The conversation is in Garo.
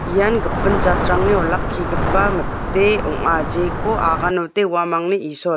ian gipin jatrangni olakkigipa mite ong·a jeko aganode uamangni isol.